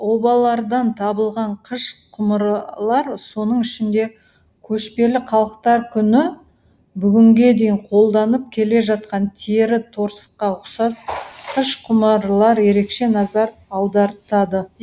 обалардан табылған қыш құмыралар соның ішінде көшпелі халықтар күні бүгінге дейін қолданып келе жатқан тері торсыққа ұқсас қыш құмыралар ерекше назар аудартады